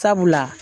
Sabula